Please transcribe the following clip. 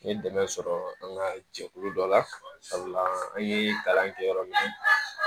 N ye dɛmɛ sɔrɔ an ka jɛkulu dɔ la sabula an ye kalan kɛ yɔrɔ min